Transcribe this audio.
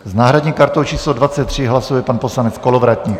S náhradní kartou číslo 23 hlasuje pan poslanec Kolovratník.